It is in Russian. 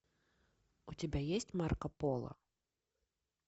у тебя есть марко поло